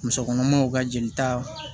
Musokɔnɔmaw ka jelita